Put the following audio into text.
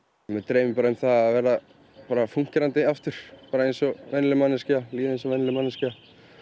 mig dreymir bara um það að verða fúnkerandi aftur bara eins og venjuleg manneskja líða eins og venjuleg manneskja